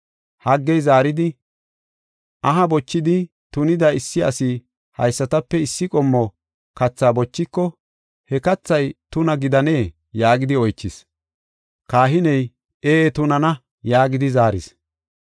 Haggey zaaridi, “Aha bochidi tunida issi asi haysatape issi qommo kathaa bochiko he kathay tuna gidanee?” yaagidi oychis. Kahiney, “Ee tunana” yaagidi zaaris.